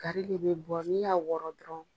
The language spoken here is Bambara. Gari le bɛ bɔ, ni y'a wɔrɔn dɔrɔn